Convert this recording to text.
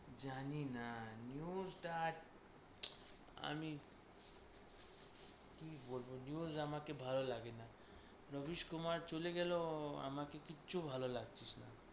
জানিনা। news টা আমি কী বলব news আমাকে ভালো লাগে না। রবিস কুমার চলে গেল আমাকে কিচ্ছু ভালো লাগছিস না।